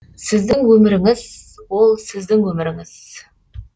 сіздің өміріңіз ол сіздің өміріңіз